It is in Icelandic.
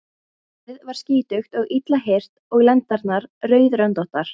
Hrossið var skítugt og illa hirt og lendarnar rauðröndóttar.